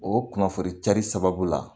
O kunnafoni cari sababu la